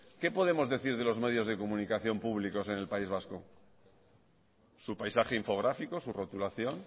qué podemos decir de los medios de comunicación públicos en el país vasco su paisaje infográfico su rotulación